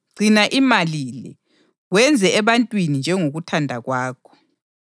“Gcina imali le, wenze ebantwini njengokuthanda kwakho.”